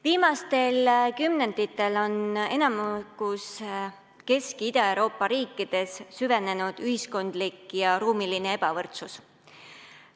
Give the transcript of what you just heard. Viimastel kümnenditel on enamikus Kesk- ja Ida-Euroopa riikides süvenenud ühiskondlik ja ruumiline ebavõrdsus.